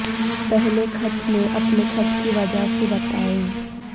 پہلے خط میں اپنے خط کی وجہ سے بتائیں